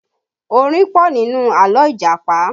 Orin pọ̀ nínú àlọ́ Ìjàpá